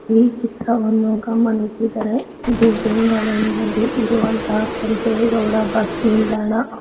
ಈ ಚಿತ್ರವನ್ನು ಗಮನಿಸಿದರೆ ಇದು ಬೆಂಗಳೂರಿನಲ್ಲಿ ಇರುವಂತಹ ಕೆಂಪೇಗೌಡ ಬಸ್ ನಿಲ್ದಾಣ.